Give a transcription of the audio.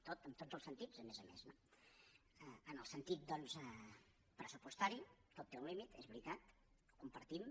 tot en tots els sentits a més no en el sentit doncs pressupostari tot té un límit és veritat ho compartim